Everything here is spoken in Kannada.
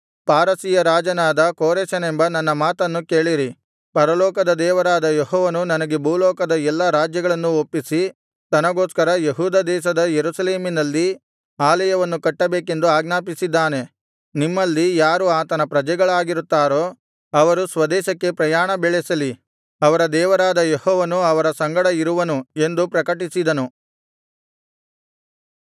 ಪಾರಸಿಯ ರಾಜನಾದ ಕೋರೆಷನೆಂಬ ನನ್ನ ಮಾತನ್ನು ಕೇಳಿರಿ ಪರಲೋಕದ ದೇವರಾದ ಯೆಹೋವನು ನನಗೆ ಭೂಲೋಕದ ಎಲ್ಲಾ ರಾಜ್ಯಗಳನ್ನು ಒಪ್ಪಿಸಿ ತನಗೋಸ್ಕರ ಯೆಹೂದ ದೇಶದ ಯೆರೂಸಲೇಮಿನಲ್ಲಿ ಆಲಯವನ್ನು ಕಟ್ಟಬೇಕೆಂದು ಆಜ್ಞಾಪಿಸಿದ್ದಾನೆ ನಿಮ್ಮಲ್ಲಿ ಯಾರು ಆತನ ಪ್ರಜೆಗಳಾಗಿರುತ್ತಾರೋ ಅವರು ಸ್ವದೇಶಕ್ಕೆ ಪ್ರಯಾಣ ಬೆಳೆಸಲಿ ಅವರ ದೇವರಾದ ಯೆಹೋವನು ಅವರ ಸಂಗಡ ಇರುವನು ಎಂದು ಪ್ರಕಟಿಸಿದನು